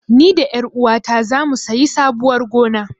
Ni da ƴaruwata zamu sayi sabuwar gona.